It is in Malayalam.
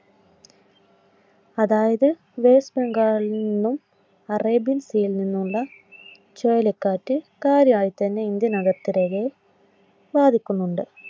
അതായത് വെസ്റ്റ് ബംഗാളിൽ നിന്നും അറേബ്യൻസിയിൽ നിന്നുമുള്ള ചുഴലിക്കാറ്റ് കാര്യായിട്ട് തന്നെ ഇന്ത്യൻ അതിർത്തി രേഖയെ ബാധിക്കുന്നുണ്ട്